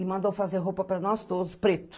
E mandou fazer roupa para nós todos preto.